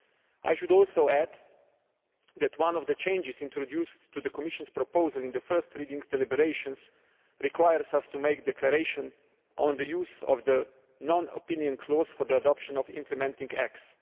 I should also add that one of the changes introduced to the Commission's proposal in the first reading deliberations requires us to make a declaration on the use of the non opinion clause for the adoption of implementing acts.